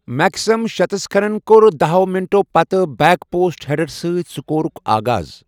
Maxim شتسکخَن کوٚر دَہو منٹَو پتہٕ بیک پوسٹ ہیڈرٕ سۭتۍ سکورُک آغاز۔